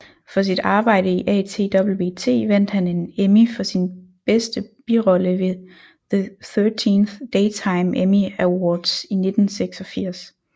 For sit arbejde i ATWT vandt han en Emmy for bedste birolle ved the 13th Daytime Emmy Awards i 1986